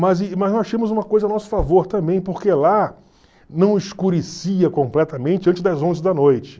Mas mas nós achamos uma coisa a nosso favor também, porque lá não escurecia completamente antes das onze da noite.